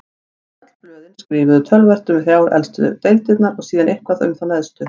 En öll blöðin skrifuðu töluvert um þrjár efstu deildirnar og síðan eitthvað um þá neðstu.